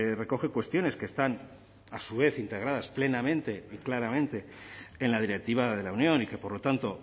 recoge cuestiones que están a su vez integradas plenamente y claramente en la directiva de la unión y que por lo tanto